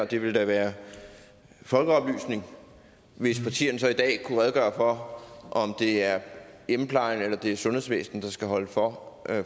det ville da være folkeoplysende hvis partierne i dag kunne redegøre for om det er hjemmeplejen eller det er sundhedsvæsenet der skal holde for